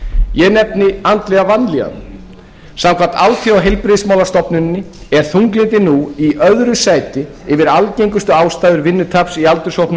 ég nefni andlega vanlíðan samkvæmt alþjóðaheilbrigðismálastofnuninni er þunglyndi nú í öðru sæti yfir algengustu ástæður vinnutaps í aldurshópnum